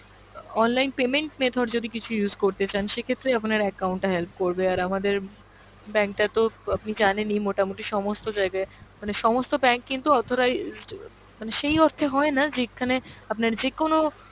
online payment method যদি কিছু use করতে চান সেক্ষেত্রে আপনার account টা help করবে আর আমাদের bank টা তো আপনি জানেনই মোটা-মুটি সমস্ত জায়গায় মানে সমস্ত bank কিন্তু authorized মানে সেই অর্থে হয়না যে যেখানে আপনার যেকোনো,